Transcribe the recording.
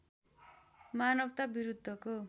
मानवता विरुद्धको